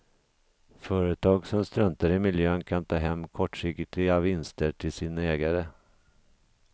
Företag som struntar i miljön kan ta hem kortsiktiga vinster till sina ägare.